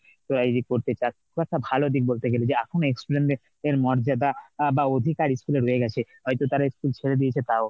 তোরা যদি করতে চাস বা একটা ভাল দিক বলতে গেলে যে এখন‌ও ex student দের মর্যাদা আ বা অধিকার school এ রয়ে গেছে হয়তো তারা school ছেড়ে দিয়েছে তাও।